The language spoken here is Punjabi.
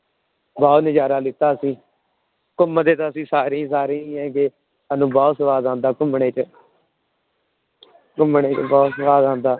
ਬਹੁਤ ਨਜ਼ਾਰਾ ਲਿੱਤਾ ਅਸੀਂ, ਘੁੰਮਦੇ ਤਾਂ ਅਸੀਂ ਸਾਰੇ ਹੀ ਸਾਰੇ ਹੀ ਹੈਗੇ, ਸਾਨੂੰ ਬਹੁਤ ਸਵਾਦ ਆਉਂਦਾ ਘੁੰਮਣੇ ਚ ਘੁੰਮਣ ਚ ਬਹੁਤ ਸਵਾਦ ਆਉਂਦਾ।